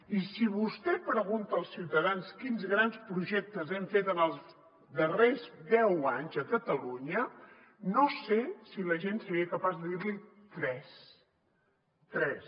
i si vostè pregunta als ciutadans quins grans projectes hem fet en els darrers deu anys a catalunya no sé si la gent seria capaç de dir n’hi tres tres